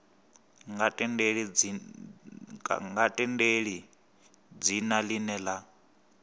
nga tendeli dzina ḽine ḽa